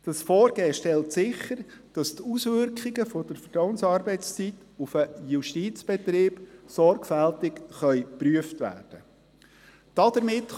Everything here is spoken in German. Dieses Vorgehen stellt sicher, dass die Auswirkungen der Vertrauensarbeitszeit auf den Justizbetrieb sorgfältig geprüft werden können.